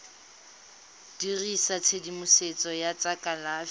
dirisa tshedimosetso ya tsa kalafi